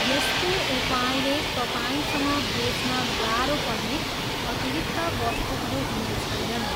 यस्तो उपायले तपाईँसँग बेच्न गाह्रो पर्ने अतिरिक्त वस्तुहरू हुने छैनन्।